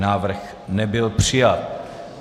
Návrh nebyl přijat.